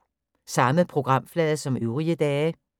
Samme programflade som øvrige dage